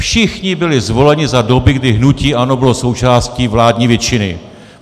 Všichni byli zvoleni za doby, kdy hnutí ANO bylo součástí vládní většiny.